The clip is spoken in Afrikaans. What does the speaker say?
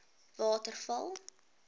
waterval